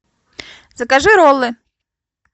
закажи роллы